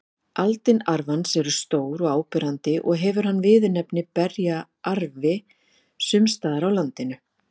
Aldin arfans eru stór og áberandi og hefur hann viðurnefnið berjaarfi sums staðar á landinu.